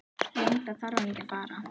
Lengra þarf hann ekki að fara.